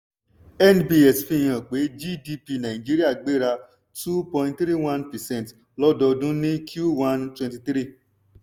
nbs fi hàn pé gdp nàìjíríà gbéra two point three one percent lọdọọdún ní q one twenty twenty three.